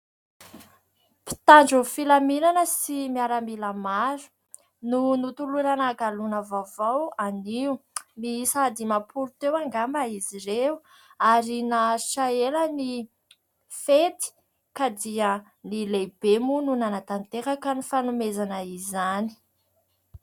Mpitandro filaminana sy miaramila maro no notolorana galona vaovao anio ; miisa dimampolo teo angamba izy ireo ary naharitra ela ny fety ka dia ny lehibe moa no nanatanteraka ny fanomezana izany.